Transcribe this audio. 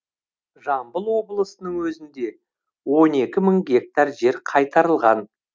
жамбыл облысының өзінде он екі мың гектар жер қайтарылған